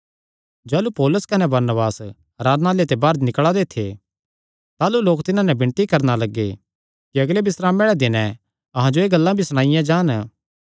जाह़लू पौलुस कने बरनबास आराधनालय ते बाहर निकल़ा दे थे ताह़लू लोक तिन्हां नैं विणती करणा लग्गे कि अगले बिस्रामे आल़े दिनैं अहां जो एह़ गल्लां भिरी सणाईयां जान